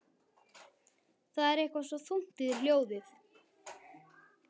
Það er eitthvað svo þungt í þér hljóðið.